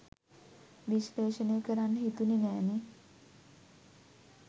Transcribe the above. විශ්ලේෂණය කරන්න හිතුනෙ නෑනෙ.